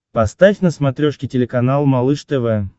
поставь на смотрешке телеканал малыш тв